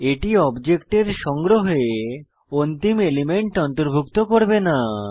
এটি অবজেক্টের সংগ্রহে অন্তিম এলিমেন্ট অন্তর্ভুক্ত করবে না